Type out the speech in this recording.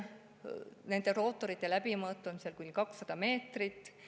Nende rootorite läbimõõt on kuni 200 meetrit.